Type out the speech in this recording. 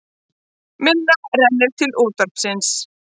Minna rennur til útvarpsins